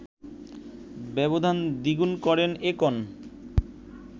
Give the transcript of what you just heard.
ব্যবধান দ্বিগুন করেন একন